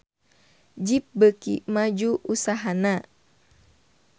Jeep beuki maju usahana